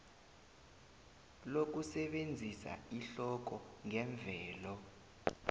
lokusebenzisa ihloko ngemvelo